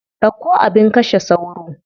Ɗauko abin kashe sauro.